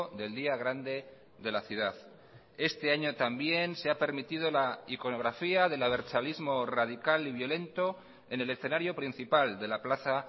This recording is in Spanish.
del día grande de la ciudad este año también se ha permitido la iconografía del abertzalismo radical y violento en el escenario principal de la plaza